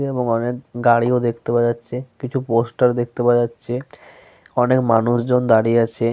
এবং অনেক গাড়ি ও দেখতে পাওয়া যাচ্ছে। কিছু পোস্টার দেখতে পাওয়া যাচ্ছে। অনেক মানুষজন দাঁড়িয়ে আছে।